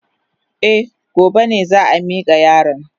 Eh, gobe ne za a mika yaron.